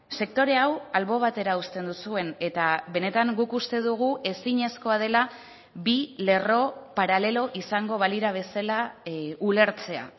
sektore hau albo batera uzten duzuen eta benetan guk uste dugu ezinezkoa dela bi lerro paralelo izango balira bezala ulertzea